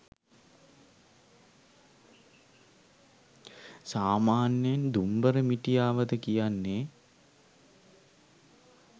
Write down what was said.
සාමාන්‍යයෙන් “දුම්බර මිටියාවත” කියන්නේ